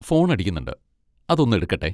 Phone അടിക്കുന്നുണ്ട്, അതൊന്നെടുക്കട്ടെ.